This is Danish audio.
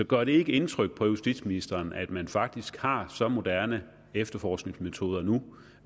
gør det ikke indtryk på justitsministeren at man faktisk har så moderne efterforskningsmetoder nu